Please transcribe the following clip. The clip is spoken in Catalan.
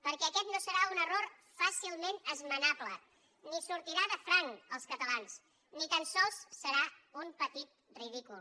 perquè aquest no serà un error fàcilment esmenable ni sortirà de franc als catalans ni tan sols serà un petit ridícul